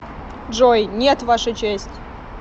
джой нет ваша честь